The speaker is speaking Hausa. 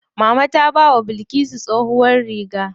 Mama ta bawa Bilkisu tsohuwar riga.